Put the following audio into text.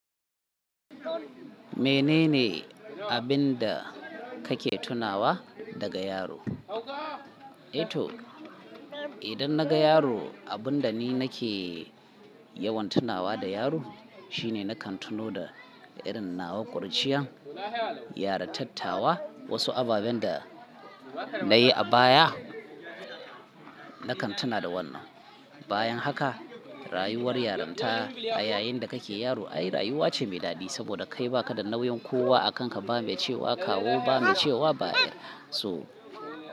Menene abin da kake tunawa daga yaro? E to, idan na ga yaro, abin da ni nake yawan tunawa da yaro shine nakan tuno da irin nawa kurciyan, yarintattawa, wasu ababen da na yi a baya, nakan tuna da wannan. Bayan haka, rayuwar yarinta a yayin da kake yaro ai rayuwa ce mai daɗi saboda kai baka da nauyin kowa a kanka ba me cewa kawo ba me cewa baya so.